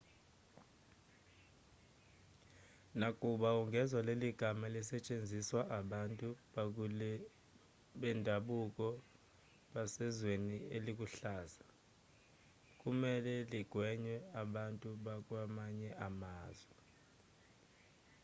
nakuba ungezwa leli gama lisetshenziswa abantu bendabuko basezweni eliluhlaza kumelwe ligwenywe abantu bakwamanye amazwe